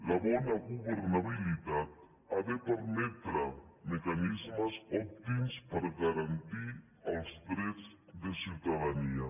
la bona governabilitat ha de permetre mecanismes òptims per garantir els drets de ciutadania